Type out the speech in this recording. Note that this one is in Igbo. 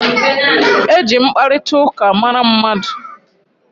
E ji mkparitauka mara mmadu